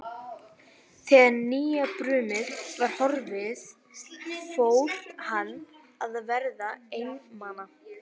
Þegar nýjabrumið var horfið fór hann að verða einmana.